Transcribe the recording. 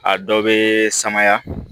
A dɔ bɛ samaya